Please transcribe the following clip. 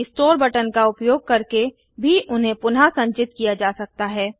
restore button का उपयोग करके भी उन्हें पुनः संचित किया जा सकता है